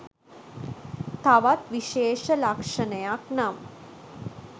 තවත් විශේෂ ලක්‍ෂණයක් නම්